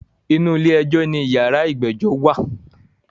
Inú ilé ẹjọ́ ní yàrá ìgbẹ́jọ́ wà.